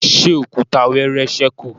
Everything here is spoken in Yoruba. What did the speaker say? ṣe Òkúta wẹẹrẹ sẹku?